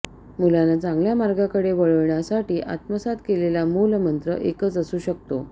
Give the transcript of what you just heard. मुलांना चांगल्या मार्गाकडे वळवण्यासाठी आत्मसात केलेला मूलमंत्र एकच असू शकतो